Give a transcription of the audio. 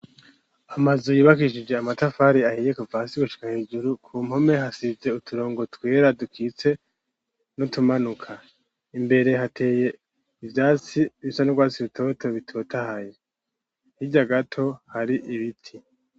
Amazuyibakishije amatafari ahiye kufasigushika hejuru ku mpome hasize uturongo twera dukitse no tumanuka imbere hateye ivyatsi bisa n'urwatsi bitoto bitotahaye hirya gato hari ibiti.